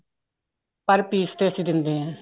per piece ਤੇ ਅਸੀਂ ਦਿੰਦੇ ਆ